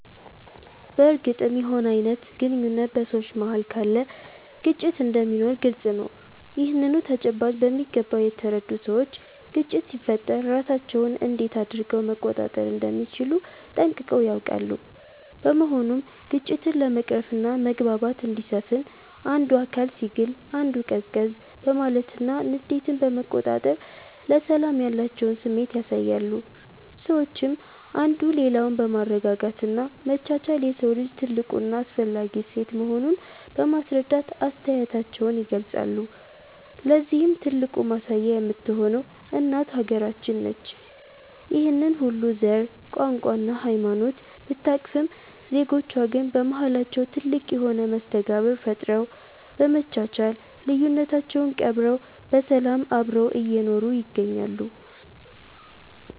በርግጥም የሆነ አይነት ግንኙነት በ ሰዎች መሃል ካለ ግጭት እንደሚኖር ግልፅ ነው። ይህንኑ ተጨባጭ በሚገባ የተረዱ ሰዎች ግጭት ሲፈጠር ራሳቸውን እንዴት አድረገው መቆጣጠር እንደሚችሉ ጠንቅቀው ያውቃሉ። በመሆኑም ግጭትን ለመቅረፍና መግባባት እንዲሰፍን አንዱ አካል ሲግል አንዱ ቀዝቀዝ በማለትና ንዴትን በመቆጣጠር ለሰላም ያላቸውን ስሜት ያሳያሉ። ሰዎችም አንዱ ሌላውን በማረጋጋት እና መቻቻል የሰው ልጅ ትልቁ እና አስፈላጊ እሴት መሆኑን በማስረዳት አስተያየታቸውን ይገልፃሉ። ለዚህም ትልቁ ማሳያ የምትሆነው እናት ሃገራችን ነች። ይህንን ሁሉ ዘር፣ ቋንቋ እና ሃይማኖት ብታቅፍም ዜጎቿ ግን በማሃላቸው ትልቅ የሆነ መስተጋብር ፈጥረው፤ በመቻቻል ልዩነታቸውን ቀብረው በሰላም አብረው እየኖሩ ይገኛሉ።